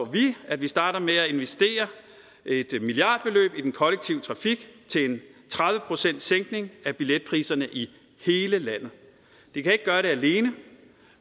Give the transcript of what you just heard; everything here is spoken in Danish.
vi at vi starter med at investere et milliardbeløb i den kollektive trafik til en tredive procentssænkning af billetpriserne i det kan ikke gøre det alene